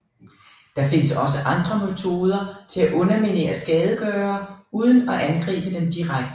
Der findes også andre metoder til at underminere skadegørere uden at angribe dem direkte